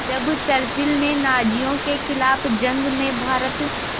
जब चर्चिल ने नाज़ियों के ख़िलाफ़ जंग में भारत